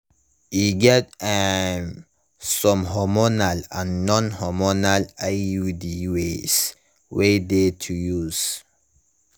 e get um some hormonal and non hormonal iud ways wey de to use